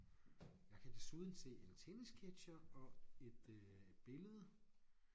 Jeg kan desuden se en tennisketcher og et øh billedet